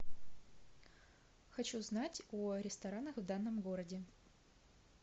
хочу знать о ресторанах в данном городе